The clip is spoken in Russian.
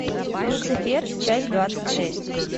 люцифер часть двадцать шесть